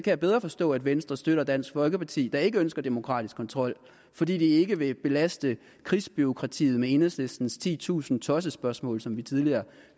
jeg bedre forstå at venstre støtter dansk folkeparti der ikke ønsker demokratisk kontrol fordi de ikke vil belaste krigsbureaukratiet med enhedslistens titusind tossespørgsmål som vi tidligere